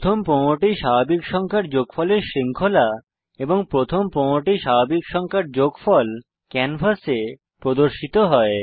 প্রথম 15টি স্বাভাবিক সংখ্যার যোগফলের শৃঙ্খলা এবং প্রথম 15টি স্বাভাবিক সংখ্যার যোগফল ক্যানভাসে প্রদর্শিত হয়